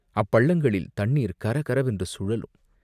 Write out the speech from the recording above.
அப்பள்ளங்களில் தண்ணீர் கரகரவென்று சுழலும்.